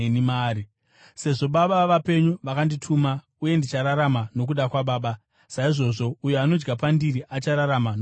Sezvo Baba vapenyu vakandituma uye ndichirarama nokuda kwaBaba, saizvozvo uyo anodya pandiri achararama nokuda kwangu.